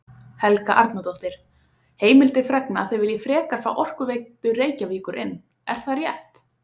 Helga Arnardóttir: Heimildir fregna að þið viljið frekar fá Orkuveitu Reykjavíkur inn, er það rétt?